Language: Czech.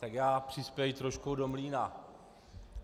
Tak já přispěji trošku do mlýna.